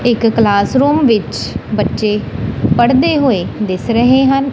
ਇੱਕ class room ਵਿੱਚ ਬੱਚੇ ਪੜ੍ਦੇ ਹੋਏ ਦਿਖ ਰਹੇ ਹਨ।